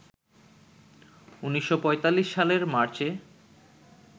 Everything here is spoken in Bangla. ১৯৪৫ সালের মার্চে